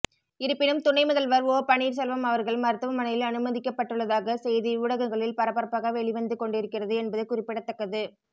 இருப்பினும் துணை முதல்வர் ஓ பன்னீர்செல்வம் அவர்கள் மருத்துவமனையில் அனுமதிக்கப்பட்டுள்ளதாக செய்தி ஊடகங்களில் பரபரப்பாக வெளிவந்து கொண்டிருக்கிறது என்பது குறிப்பிடத்தக்கது